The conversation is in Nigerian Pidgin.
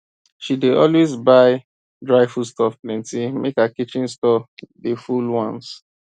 she dey always buy dry foodstuff plenty make her kitchen store dey full once